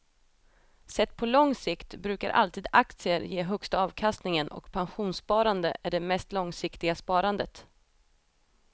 Sett på lång sikt brukar alltid aktier ge högsta avkastningen och pensionssparande är det mest långsiktiga sparandet.